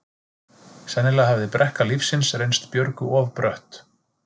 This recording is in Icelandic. Sennilega hafði brekka lífsins reynst Björgu of brött.